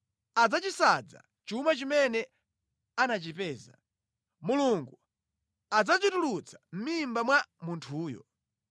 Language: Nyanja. Adzachisanza chuma chimene anachimeza; Mulungu adzachitulutsa mʼmimba mwa munthuyo.